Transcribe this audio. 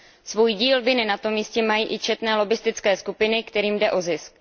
Svůj díl viny na tom jistě mají i četné lobbistické skupiny, kterým jde o zisk.